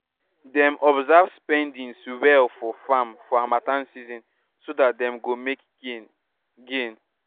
dem observe spendings well for farm for harmattan season so dat dem go make gain gain